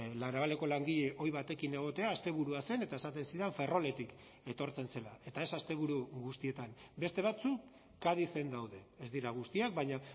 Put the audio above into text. la navaleko langile ohi batekin egotea asteburua zen eta esaten zidan ferroletik etortzen zela eta ez asteburu guztietan beste batzuk cadizen daude ez dira guztiak baina